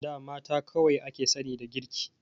A da mata kadai aka sani da girki.